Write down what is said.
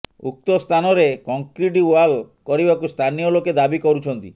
ଉକ୍ତ ସ୍ଥାନରେ concrete wall କରିବାକୁ ସ୍ଥାନୀୟ ଲୋକେ ଦାବି କରୁଛନ୍ତି